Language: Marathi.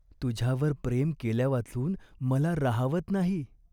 तुझ्यावर प्रेम केल्यावाचून मला राहावत नाही.